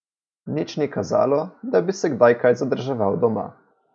Nič ni kazalo, da bi se kdaj kaj zadrževal doma.